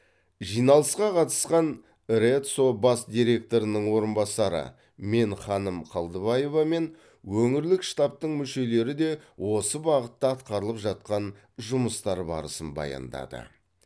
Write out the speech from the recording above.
жиналысқа қатысқан рэдсо бас директорының орынбасары менханым қалдыбаева мен өңірлік штабтын мүшелері де осы бағытта атқарылып жатқан жұмыстар барысын баяндады